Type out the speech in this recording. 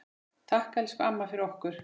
Takk, elsku amma, fyrir okkur.